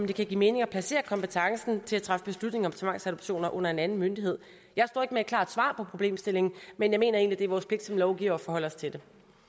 det kan give mening at placere kompetencen til at træffe beslutninger om tvangsadoptioner under en anden myndighed jeg står ikke med et klart svar på problemstillingen men jeg mener egentlig vores pligt som lovgivere at forholde os til det